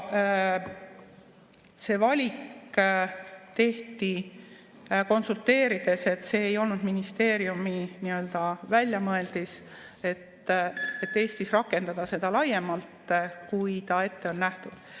See valik tehti konsulteerides, see ei olnud ministeeriumi väljamõeldis, et Eestis rakendada seda laiemalt, kui ta ette on nähtud.